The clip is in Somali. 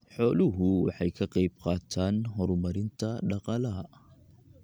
Xooluhu waxay ka qayb qaataan horumarinta dhaqaalaha.